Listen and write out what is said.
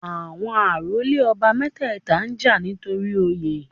Àwọn àrólé ọba mẹ́tẹ̀ẹ̀ta ń jà torí Oyè